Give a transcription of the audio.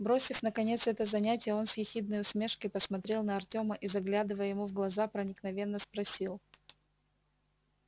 бросив наконец это занятие он с ехидной усмешкой посмотрел на артёма и заглядывая ему в глаза проникновенно спросил